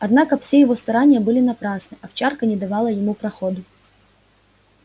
однако все его старания были напрасны овчарка не давала ему проходу